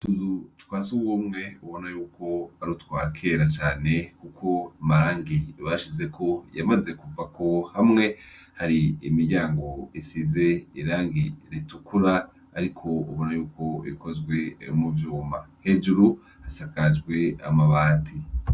Utuzu twasugumwe ubonayuko ari utwakera cane kuko amarangi bashizeko yamaze kuvako hamwe hari imiryango isize irangi ritukura ariko ubona yuko ikozwe muvyuma hejuru hasakajwe amabati.